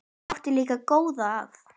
Hann átti líka góða að.